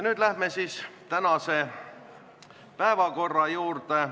Nüüd läheme tänase päevakorra juurde.